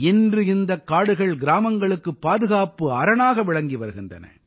இன்று இந்தக் காடுகள் கிராமங்களுக்குப் பாதுகாப்பு அரணாக விளங்கி வருகின்றன